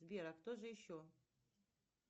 сбер а кто же еще